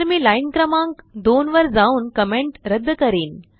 तर मी लाईन क्रमांक 2 वर जाऊन कमेंट रद्द करीन